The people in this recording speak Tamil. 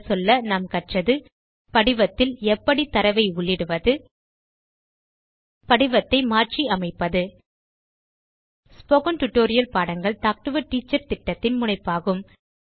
சுருங்கசொல்ல நாம் கற்றது படிவத்தில் எப்படி தரவை உள்ளிடுவது படிவத்தை மாற்றி அமைப்பது ஸ்போகன் டுடோரியல் பாடங்கள் டாக் டு எ டீச்சர் திட்டத்தின் முனைப்பாகும்